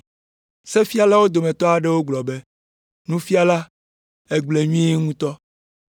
Sefialawo dometɔ aɖewo gblɔ be, “Nufiala, ègblɔe nyuie ŋutɔ!”